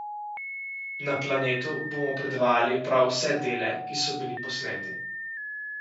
Na Planetu bomo predvajali prav vse dele, ki so bili posneti.